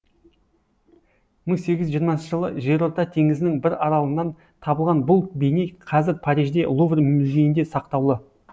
мың сегіз жүз жиырмасыншы жылы жерорта теңізінің бір аралынан табылған бұл бейне қазір парижде лувр музейінде сақтаулы